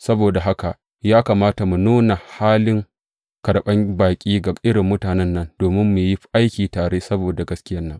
Saboda haka ya kamata mu nuna halin karɓan baƙi ga irin mutanen nan domin mu yi aiki tare saboda gaskiyan nan.